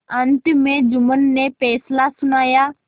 अंत में जुम्मन ने फैसला सुनाया